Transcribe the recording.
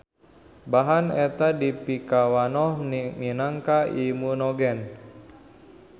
Bahan eta dipikawanoh minangka imunogen.